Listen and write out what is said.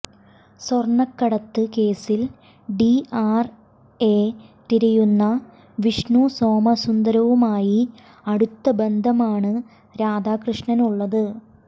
സ്വർണം കടത്ത് കേസിൽ ഡിആർഐ തിരയുന്ന വിഷ്ണു സോമസുന്ദരവുമായി അടുത്ത ബന്ധമാണ് രാധാകൃഷ്ണനുള്ളത്